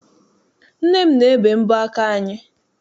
Nne m na-ebe m mbọ aka anyị.